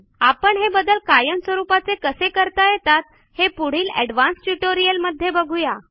आपण हे बदल कायम स्वरूपाचे कसे करता येतात हे पुढील एडवान्स्ड ट्युटोरियल मध्ये बघू या